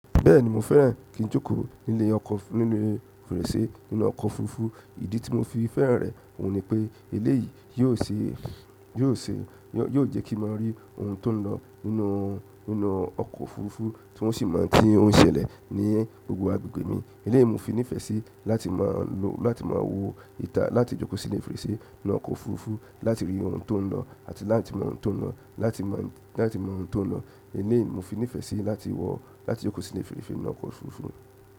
Bẹ́ẹ̀ni mo fẹ́ràn kí n jókòó nílé ọkọ̀ níle fèrèsé nínú ọkọ̀ òfurufú. Ìdí tí mo fi fẹ́ràn rẹ̀ òun ni pé eléyìí yóò ṣe, yóò ṣe, yóò jẹ́ kí n maa rí ohun tó ń lọ nínú, nínú ọkọ̀ òfurufú tí n o sì mo ń tí o n ṣẹlẹ̀ ní gbogbo agbègbè mi. Eléyìí ni mo fi nífẹ̀ẹ́ sí láti máa lo, láti máa wòó ìta, láti jókòó sílé fèrèsé nínú ọkọ̀ òfurufú, láti rí ohun tó ń lọ àti láti mọ ohun tó ń lọ, láti mọ, láti mọ ohun tó ń lọ. Eléyìí mo fi nífẹ̀ẹ́ sí láti wọ̀ ó láti jókòó sílé fèrèsé nínú ọkọ̀ òfurufú.